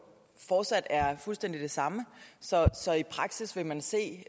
fortsat er fuldstændig den samme så i praksis vil man se